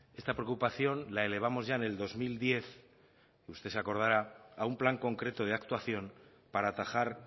esta preocupación la elevamos ya en el dos mil diez que usted se acordará a un plan concreto de actuación para atajar